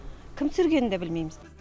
кім түсіргенін де білмейміз